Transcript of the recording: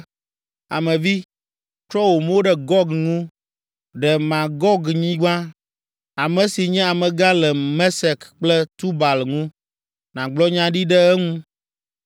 “Ame vi, trɔ wò mo ɖe Gog ŋu, ɖe Magognyigba, ame si nye amegã le Mesek kple Tubal ŋu, nàgblɔ nya ɖi ɖe eŋu,